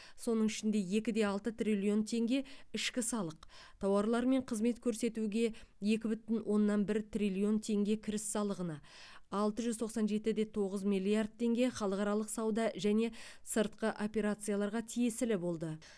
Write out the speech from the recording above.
соның ішінде екі де алты триллион теңге ішкі салық тауарлар мен қызмет көрсетуге екі бүтін оннан бір триллион теңге кіріс салығына алты жүз тоқсан жеті де тоғыз миллиард теңге халықаралық сауда және сыртқы операцияларға тиесілі болды